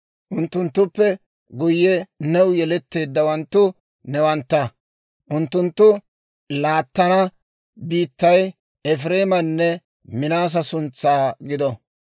Unttunttuppe guyye new yeletteeddawanttu newantta; unttunttu laattana biittay Efireemanne Minaasa suntsan gido.